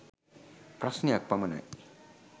ප්‍රශ්නයක් පමණයි.